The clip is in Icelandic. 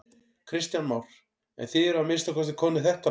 Kristján Már: En þið eruð að minnsta kosti komnir þetta langt?